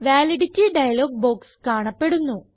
validity dialog box കാണപ്പെടുന്നു